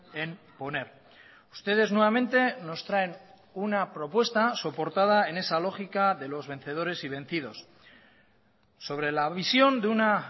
en poner ustedes nuevamente nos traen una propuesta soportada en esa lógica de los vencedores y vencidos sobre la visión de una